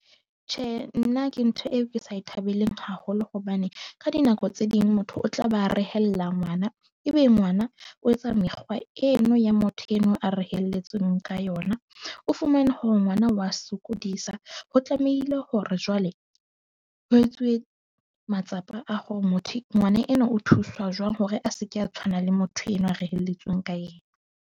Tjhe, nna ke ntho e ke sa e thabeleng haholo, hobane ka dinako tse ding motho o tla be a rehella ngwana. Ebe ngwana o etsa mekgwa eno ya motho eno a reheletsweng ka yona. O fumane hore ngwana wa sokodisa ho tlamehile hore jwale ho etswe matsapa a hore motho ngwana enwa o thusa jwang hore a se ke a tshwana le motho enwa a reheletsweng ka yena.